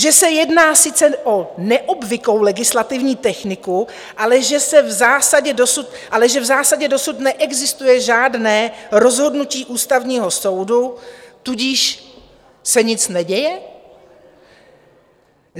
Že se jedná sice o neobvyklou legislativní techniku, ale že v zásadě dosud neexistuje žádné rozhodnutí Ústavního soudu, tudíž se nic neděje?